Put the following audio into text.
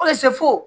Ka se fo